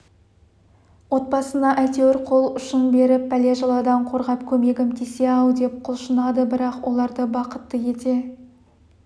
отбасына әйтеуір қол ұшын беріп бәле-жаладан қорғап көмегім тисе-ау деп құлшынады бірақ оларды бақытты ете